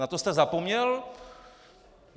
Na to jste zapomněl?